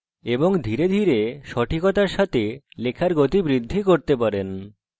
এবং ধীরে ধীরে সঠিকতার সাথে লেখার গতি বৃদ্ধি করতে পারি